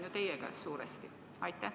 Võti on suuresti teie käes.